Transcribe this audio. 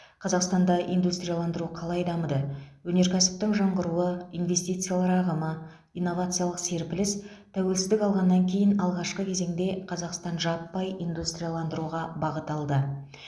қазақстанда индустрияландыру қалай дамыды өнеркәсіптің жаңғыруы инвестициялар ағымы инновациялық серпіліс тәуелсіздік алғаннан кейін алғашқы кезеңде қазақстан жаппай индустрияландыруға бағыт алды